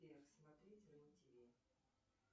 сбер смотрите рен тв